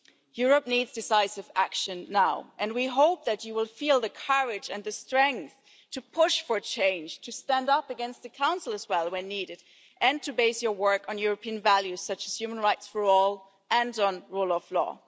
Europe needs decisive action now and we hope that you will feel the courage and the strength to push for change, to stand up against the Council when needed, and to base your work on European values, such as human rights for all and on the rule of law.